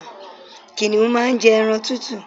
Kìnìún má n jẹ ẹran tútù